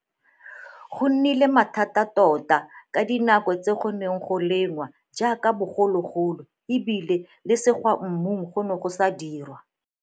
Go nnile mathata tota ka dinako tse go neng go lengwa jaaka bogologolo e bile le segwa mmu go ne go sa dirwa.